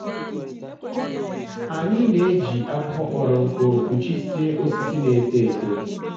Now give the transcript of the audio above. anyị na-eji akwụkwọ kpọrọ nkụ kpụchie osisi na-eto eto.